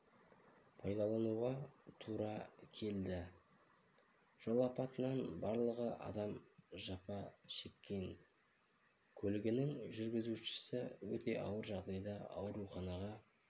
пайдалануға тура келді жол апатынан барлығы адам жапа шеккен көлігінің жүргізушісі өте ауыр жағдайда ауруханаға